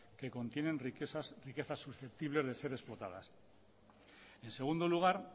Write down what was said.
que contienen riquezas susceptibles de ser explotadas en segundo lugar